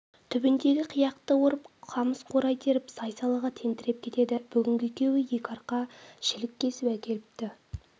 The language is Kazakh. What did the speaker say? түбіндегі қияқты орып қамыс-қурай теріп сай-салаға тентіреп кетеді бүгін екеуі екі арқа шілік кесіп әкеліпті